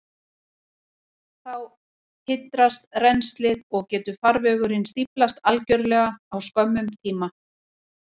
Þá hindrast rennslið, og getur farvegurinn stíflast algjörlega á skömmum tíma.